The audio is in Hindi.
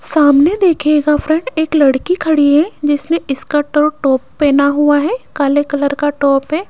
सामने देखिएगा फ्रेंड एक लड़की खड़ी है जिसने स्कर्ट और टॉप पहना हुआ है काले कलर का टॉप है।